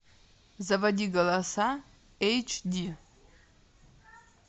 заводи голоса эйч ди